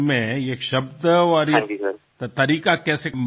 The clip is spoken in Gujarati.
આ શબ્દ આ રીત કેવી રીતે મનમાં આવી